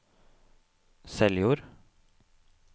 Seljord